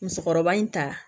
Musokɔrɔba in ta